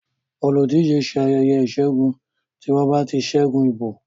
oludije ṣe ayeye isegun ti wón bá ṣe ṣẹgun ìbò